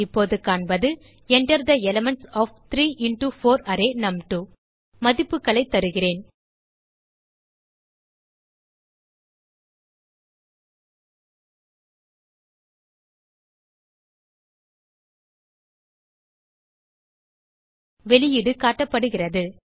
இப்போது காண்பது enter the elements of 3 into 4 array நும்2 மதிப்புகளைத் தருகிறேன் வெளியீடு காட்டப்படுகிறது